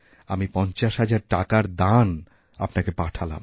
আমি পঞ্চাশহাজার টাকার দান আপনাকে পাঠালাম